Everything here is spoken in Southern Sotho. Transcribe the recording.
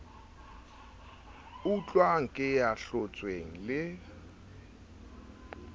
utluwang ke ya hlotsweng le